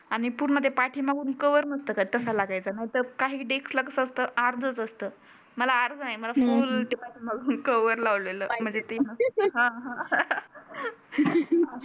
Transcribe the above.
आणि पुर्ण ते पाठी मागुन कव्हर नसत का तसं लागायचा ना. तर काही डेस्क कसं असतं अर्धच असतं. मला अर्ध नाही मला फुल ते पण कव्हर लावलेलं. हं